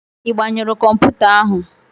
Ị gbanyụru kọmputa ahụ?